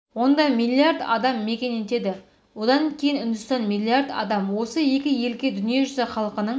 онда миллиард адам мекен етеді одан кейін үндістан миллиард адам осы екі елге дүниежүзі халқының